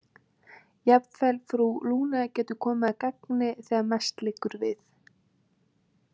Jafnvel frú Lune getur komið að gagni þegar mest liggur við.